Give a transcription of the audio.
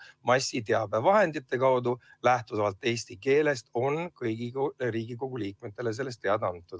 Massiteabevahendite kaudu – kui lähtuda selle sõna tähendusest eesti keeles – on kõigile Riigikogu liikmetele sellest teada antud.